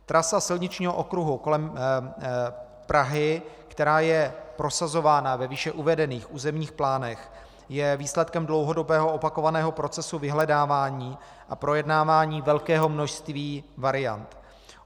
Trasa silničního okruhu kolem Prahy, která je prosazována ve výše uvedených územních plánech, je výsledkem dlouhodobého opakovaného procesu vyhledávání a projednávání velkého množství variant.